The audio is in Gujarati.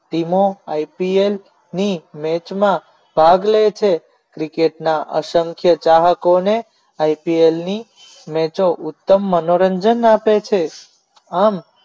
ધીમો ipl ની મેચમાં ભાગ લે છે cricket અસંખ્ય ચાહકોને ipl ની match ઉત્તમ મનોરંજન આપે છે આમ